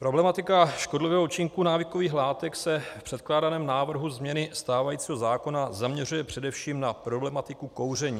Problematika škodlivého účinku návykových látek se v předkládaném návrhu změny stávajícího zákona zaměřuje především na problematiku kouření.